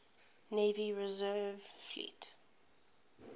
navy reserve fleet